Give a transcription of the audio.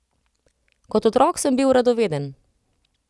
Kot otrok sem bil radoveden.